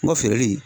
N ka feereli